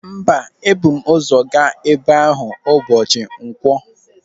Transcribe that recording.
Mba, ebu m ụzọ gaa ebe ahụ ụbọchị nkwọ.